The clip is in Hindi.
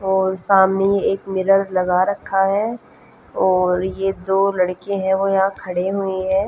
और सामने एक मिरर लगा रखा है और ये दो लड़के हैं वो यहां खड़े हुए हैं।